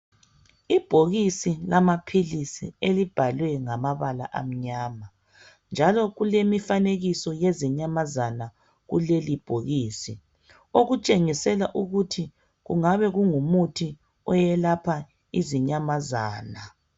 Ibhokisi lamaphilisi elibhalwe ngamabala amnyama njalo kulemifanekiso yezinyamazana kuleli bhokisi okutshengisela ukuthi kungabe kungumuthi oyelapha izinyamazana.